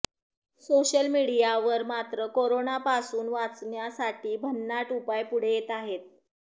social मीडियावर मात्र करोनापासून वाचण्यासाठी भन्नाड उपाय पुढे येत आहेत